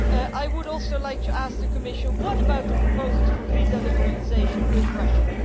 I would also like to ask the Commission What about the proposals for visa liberalisation with Russia?